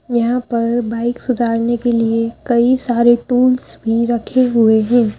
यहां पर बाइक सुधारने के लिए कई सारे टूल्स में रखे हुए हैं।